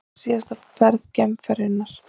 Þetta er síðasta ferð geimferjunnar